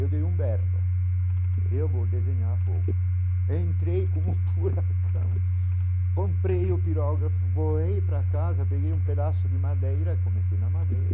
Eu dei um berro, eu vou desenhar fogo, entrei como um furacão, comprei o pirógrafo, voei para casa, peguei um pedaço de madeira, comecei na madeira,